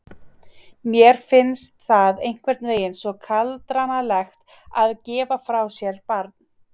Mér finnst það einhvern veginn svo kaldranalegt að gefa frá sér barn.